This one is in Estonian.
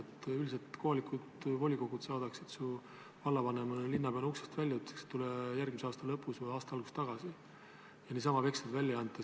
Üldiselt saadaksid kohalikud volikogud su vallavanema või linnapeana uksest välja ja ütleksid, et tule järgmise aasta lõpus või aasta alguses tagasi, niisama veksleid välja ei anta.